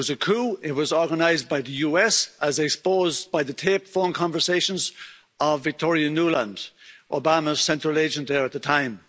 it was a coup. It was organised by the US, as exposed by the taped phone conversations of Victoria Nuland, Obama's central agent there at the time.